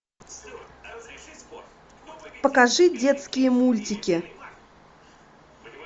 покажи детские мультики